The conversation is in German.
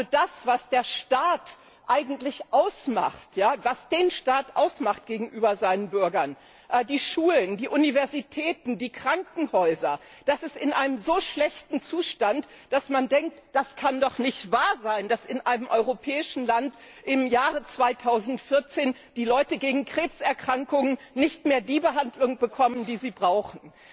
Also das, was den Staat eigentlich gegenüber seinen Bürgern ausmacht die Schulen, die Universitäten, die Krankenhäuser ist in einem so schlechten Zustand, dass man denkt Das kann doch nicht wahr sein, dass in einem europäischen Land im Jahr 2014 die Leute gegen Krebserkrankungen nicht mehr die Behandlung bekommen, die sie brauchen!